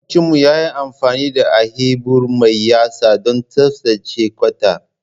Makwabcinmu ya yi amfani da ahebur mai yatsu don tsaftace kwata.